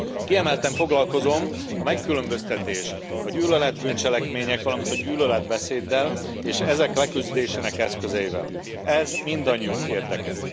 Kiemelten foglalkozom a megkülönböztetés, a gyűlölet bűncselekmények, valamint a gyűlöletbeszéddel és ezek leküzdésének eszközeivel, ez mindannyiunk érdeke.